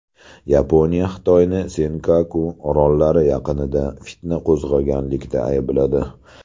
Yaponiya Xitoyni Senkaku orollari yaqinida fitna qo‘zg‘aganlikda aybladi.